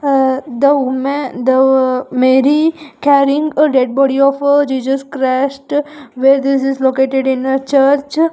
The wome the mary carrying a dead body of a jesus christ where this is located in a church.